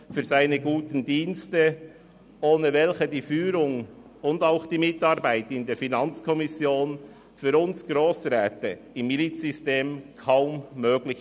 Ohne seine guten Dienste wären die Führung und die Mitarbeit in der FiKo für uns Grossräte im Milizsystem kaum möglich.